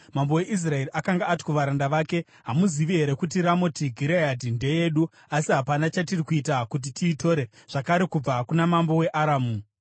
Mambo weIsraeri akanga ati kuvaranda vake, “Hamuzivi here kuti Ramoti Gireadhi ndeyedu asi hapana chatiri kuita kuti tiitore zvakare kubva kuna mambo weAramu?”